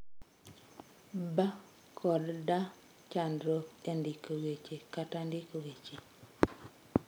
'B' kod 'D' Chandruok e ndiko weche kata ndiko weche.